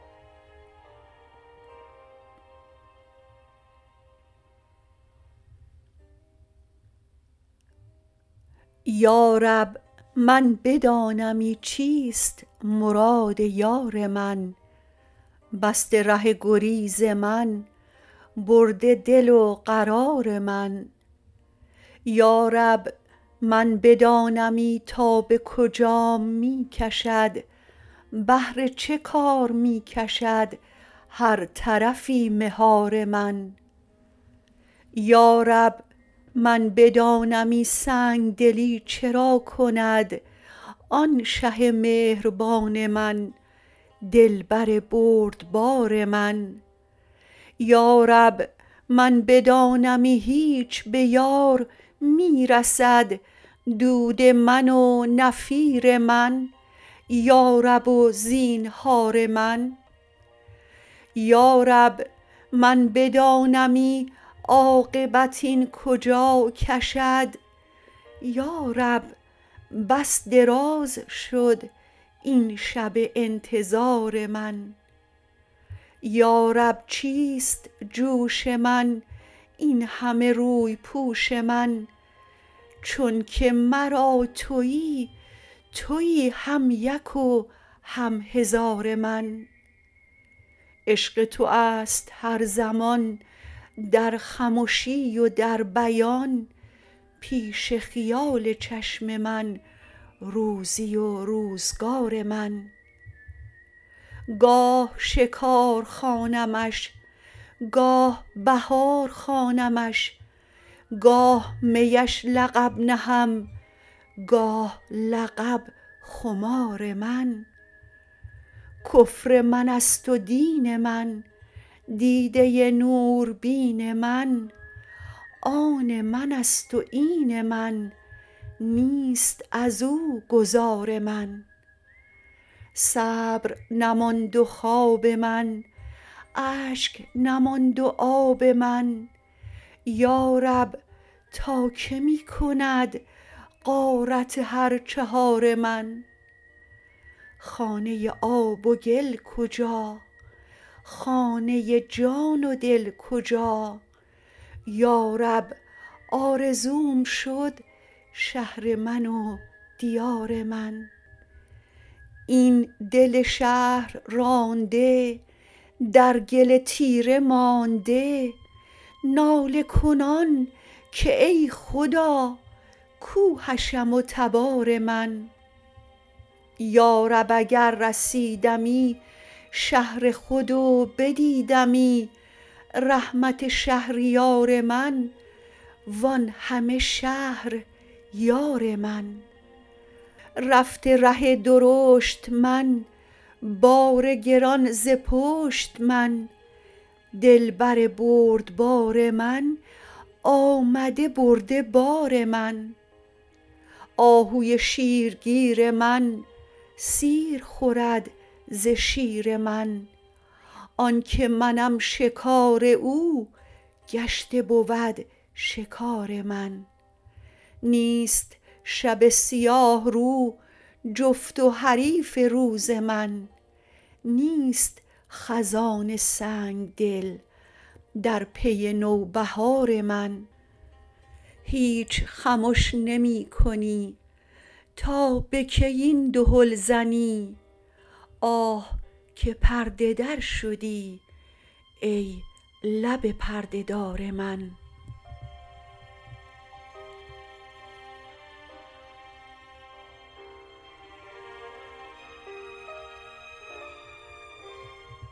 یا رب من بدانمی چیست مراد یار من بسته ره گریز من برده دل و قرار من یا رب من بدانمی تا به کجام می کشد بهر چه کار می کشد هر طرفی مهار من یا رب من بدانمی سنگ دلی چرا کند آن شه مهربان من دلبر بردبار من یا رب من بدانمی هیچ به یار می رسد دود من و نفیر من یارب و زینهار من یا رب من بدانمی عاقبت این کجا کشد یا رب بس دراز شد این شب انتظار من یا رب چیست جوش من این همه روی پوش من چونک مرا توی توی هم یک و هم هزار من عشق تو است هر زمان در خمشی و در بیان پیش خیال چشم من روزی و روزگار من گاه شکار خوانمش گاه بهار خوانمش گاه میش لقب نهم گاه لقب خمار من کفر من است و دین من دیده نوربین من آن من است و این من نیست از او گذار من صبر نماند و خواب من اشک نماند و آب من یا رب تا کی می کند غارت هر چهار من خانه آب و گل کجا خانه جان و دل کجا یا رب آرزوم شد شهر من و دیار من این دل شهر رانده در گل تیره مانده ناله کنان که ای خدا کو حشم و تبار من یا رب اگر رسیدمی شهر خود و بدیدمی رحمت شهریار من وان همه شهر یار من رفته ره درشت من بار گران ز پشت من دلبر بردبار من آمده برده بار من آهوی شیرگیر من سیر خورد ز شیر من آن که منم شکار او گشته بود شکار من نیست شب سیاه رو جفت و حریف روز من نیست خزان سنگ دل در پی نوبهار من هیچ خمش نمی کنی تا به کی این دهل زنی آه که پرده در شدی ای لب پرده دار من